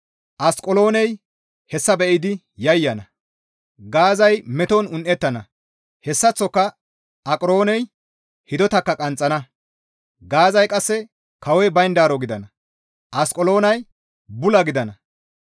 Asqeloonay hessa be7idi yayyana; Gaazay meton un7ettana; hessaththoka Aqarooney hidotakka qanxxana; Gaazay qasse kawoy bayndaaro gidana; Asqeloonay bula gidana.